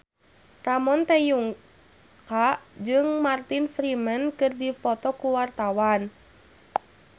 Ramon T. Yungka jeung Martin Freeman keur dipoto ku wartawan